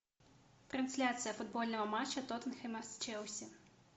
трансляция футбольного матча тоттенхэма с челси